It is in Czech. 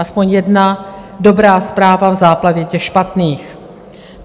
Aspoň jedna dobrá zpráva v záplavě těch špatných.